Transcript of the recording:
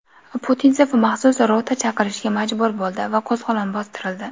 Putinsev maxsus rota chaqirishga majbur bo‘ldi va qo‘zg‘olon bostirildi.